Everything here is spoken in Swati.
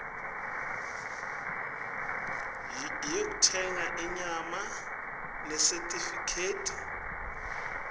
yekutsenga inyama nesitifiketi